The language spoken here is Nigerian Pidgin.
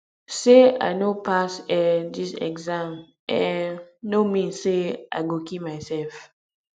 sey i no pass um dis exam um no mean sey i go kill mysef